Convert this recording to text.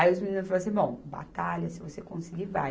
Aí os meninos falaram assim, bom, batalha, se você conseguir, vai.